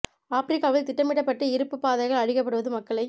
ஆப்ரிக்காவில் திட்டமிடப்பட்டு இருப்புப் பாதைகள் அழிக்கப்படுவது மக்களை